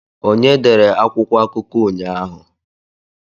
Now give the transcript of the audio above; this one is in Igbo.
Onye dere akwụkwọ akụkọ ụnyaahụ?